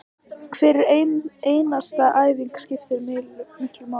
Hver einasta æfing skiptir miklu máli